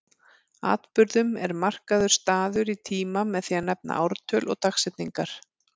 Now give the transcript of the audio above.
Atburðum er markaður staður í tíma með því að nefna ártöl og dagsetningar.